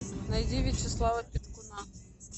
найди вячеслава петкуна